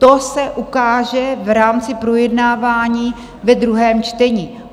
To se ukáže v rámci projednávání ve druhém čtení.